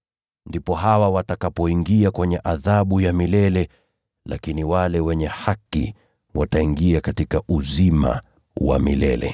“Ndipo hawa watakapoingia kwenye adhabu ya milele, lakini wale wenye haki wataingia katika uzima wa milele.”